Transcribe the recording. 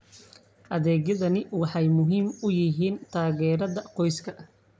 Adeegyadani waxay muhiim u yihiin taageerada qoysaska.